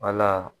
Wala